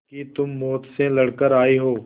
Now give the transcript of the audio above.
कि तुम मौत से लड़कर आयी हो